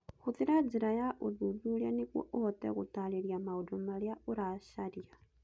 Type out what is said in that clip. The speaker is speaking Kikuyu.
Hũthĩra njĩra ya ũthuthuria nĩguo ũhote gũtaarĩria maũndũ marĩa ũracaria